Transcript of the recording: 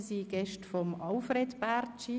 sie sind Gäste von Alfred Bärtschi.